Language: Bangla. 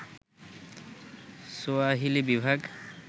সোয়াহিলি বিভাগ